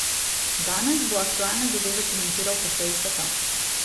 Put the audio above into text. Danes bo aktualne zadeve komentiral po seji sveta.